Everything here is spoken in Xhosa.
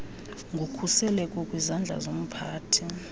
ngokhuseleko kwizandla zomphathi